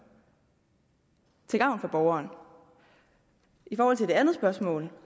til gavn for borgeren i forhold til det andet spørgsmål